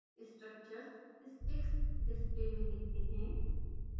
structures sticks display में दिखते हैं